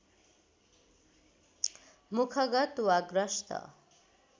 मुखगत वा ग्रस्त